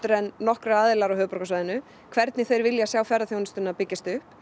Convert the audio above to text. en nokkrir aðilar á höfuðborgarsvæðinu hvernig þeir vilja sjá ferðaþjónustuna byggjast upp